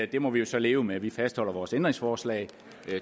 det må vi jo så leve med vi fastholder vores ændringsforslag